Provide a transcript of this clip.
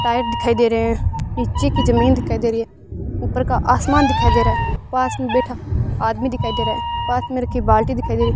tyre दिखाई दे रहे हैं नीचे की जमीन दिखाई दे रही है ऊपर का आसमान दिखाई दे रहा है पास में बैठा आदमी दिखाई दे रहा पास में रखी बाल्टी दिखाई दे रही --